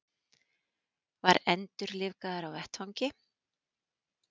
Var endurlífgaður á vettvangi